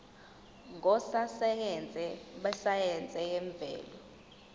ngososayense besayense yemvelo